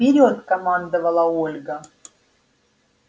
вперёд командовала ольга